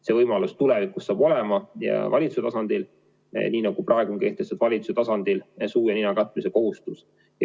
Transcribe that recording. See võimalus saab tulevikus olema valitsuse tasandil, nii nagu praegu on kehtestatud valitsuse tasandil suu ja nina katmise kohustus.